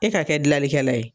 E ka kɛ dilanlikɛla ye.